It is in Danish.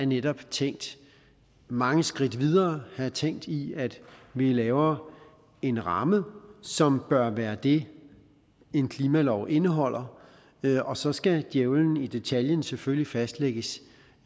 netop tænkt mange skridt videre her er tænkt i at vi laver en ramme som bør være det en klimalov indeholder og så skal djævlen i detaljen selvfølgelig fastlægges